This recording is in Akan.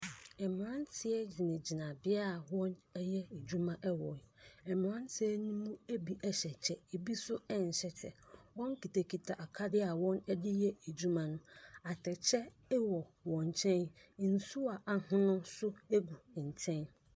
Mmeranteɛ gyinagyina bea a wɔreyɛ adwuma wɔ mmeranteɛ no mu bi hyɛ kyɛ, ebi nso nhyɛ kyɛ. Wɔkitakita akadeɛ a wɔde yɛ adwuma no. Atɛkyɛ wɔ wɔn nkyɛn. Nsuo a ahono nso gu nkyɛn.